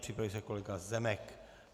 Připraví se kolega Zemek.